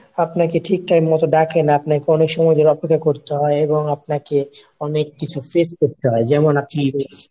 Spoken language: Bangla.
আপনাকে ঠিক time মতো ডাকে না, আপনাকে অনেক সময় ঘোরাফেরা অপেক্ষা করতে হয় এবং আপনাকে অনেককিছু face করতে হয়। যেমন আপনি